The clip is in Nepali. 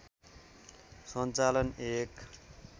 सञ्चालन एक